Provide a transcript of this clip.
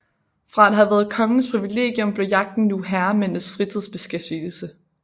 Fra at have været kongens privilegium blev jagten nu herremændenes fritidsbeskæftigelse